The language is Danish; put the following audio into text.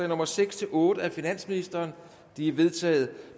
nummer seks otte af finansministeren de er vedtaget